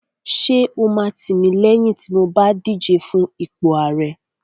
Ṣé o máa tìmílẹ́yìn tí mo bá díje fún ipò ààrẹ?